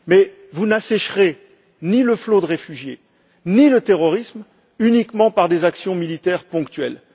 Mais vous n'assécherez ni le flot de réfugiés, ni le terrorisme uniquement par des actions militaires ponctuelles.